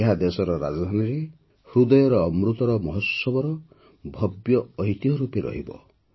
ଏହା ଦେଶର ରାଜଧାନୀର ହୃଦୟରେ ଅମୃତ ମହୋତ୍ସବର ଭବ୍ୟ ଐତିହ୍ୟ ରୂପେ ରହିଥିବ